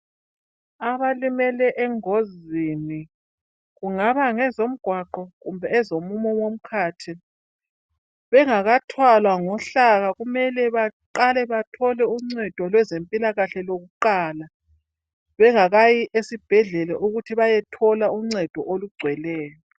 Abalimele engozini, kungaba ngezomgwaqo kumbe ezomumo womkhathi bengakathwalwa ngohlaka kumele baqale bathole uncedo lwezempilakahle loluqala bengakayi esibhedlela ukuthi bayethola uncedo olugcweleyo.